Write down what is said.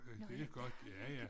Det godt ja ja